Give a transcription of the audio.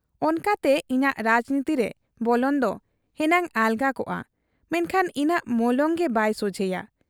ᱚᱱᱠᱟᱛᱮ ᱤᱧᱟᱹᱜ ᱨᱟᱡᱽᱱᱤᱛᱤᱨᱮ ᱵᱚᱞᱚᱱ ᱫᱚ ᱦᱮᱱᱟᱝ ᱟᱞᱜᱟ ᱠᱚᱜ ᱟ, ᱢᱮᱱᱠᱷᱟᱱ ᱤᱧᱟᱹᱜ ᱢᱚᱞᱚᱝ ᱜᱮ ᱵᱟᱭ ᱥᱚᱡᱷᱮᱭᱟ ᱾